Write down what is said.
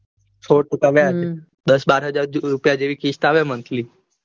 સોળ ટકા વ્યાજ દાસ બાર હજાર રૂપિયા જેવી કિસ્ત આવે મંથલી